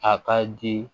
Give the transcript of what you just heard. A ka di